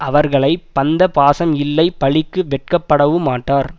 அவர்களை பந்த பாசம் இல்லை பழிக்கு வெட்கப்படவுமாட்டார்